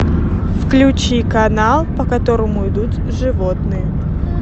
включи канал по которому идут животные